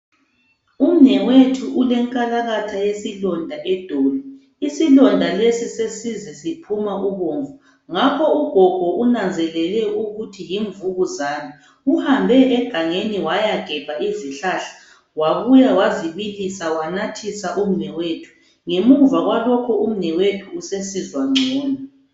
Umnewethu ulenkalakatha yesilondo edolo isilonda lesi sesize siphuma ubomvu ngakho ugogo unanzelele ukuthi yimvukuzane, uhambe egangeni waya gebha izihlahla wabuya wazi bilisa wazinathisa umnewathu, ngemuva kwalokho umnewethu usesizwa ncono.